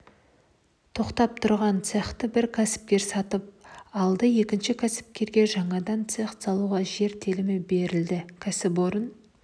тоқтап тұрған цехті бір кәсіпкер сатып алды екінші кәсіпкерге жаңадан цех салуға жер телімі берілді кәсіпорын